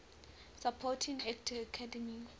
supporting actor academy